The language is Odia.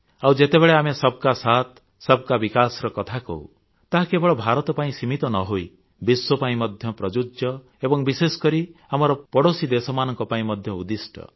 ଆଉ ଯେତେବେଳେ ଆମେ ସବକା ସାଥ ସବକା ବିକାଶ ର କଥା କହୁ ତାହା କେବଳ ଭାରତ ପାଇଁ ସୀମିତ ନ ହୋଇ ବିଶ୍ୱ ପାଇଁ ମଧ୍ୟ ପ୍ରଯୁଜ୍ୟ ଏବଂ ବିଶେଷକରି ଆମର ପଡ଼ୋଶୀ ଦେଶମାନଙ୍କ ପାଇଁ ମଧ୍ୟ ଉଦ୍ଦିଷ୍ଟ